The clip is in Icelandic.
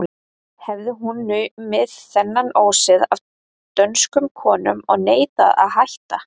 Hafði hún numið þennan ósið af dönskum konum og neitaði að hætta.